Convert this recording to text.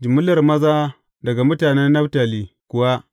Jimillar maza daga mutanen Naftali kuwa ne.